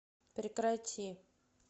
прекрати